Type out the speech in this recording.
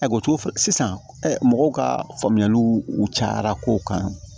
A ko cogo sisan ɛ mɔgɔw ka faamuyaliw cayara kow kan